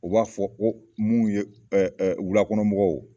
U b'a fɔ ko mu ye ɛ ɛ wulakɔnɔmɔgɔw